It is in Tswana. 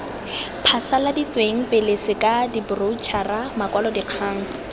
phasaladitsweng pele sk diboroutšhara makwalodikgang